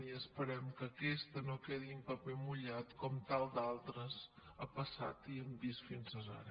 i esperem que aquesta no quedi en paper mullat com amb tantes altres ha passat i hem vist fins ara